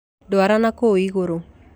Ndwara na kũu igũrũ.